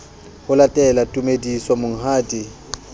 ho latele tumediso monghadi e